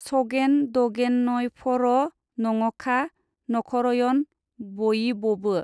सगेन दगेनयफर' नङखा, नखरयन बयिबबो।